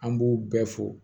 An b'u bɛɛ fo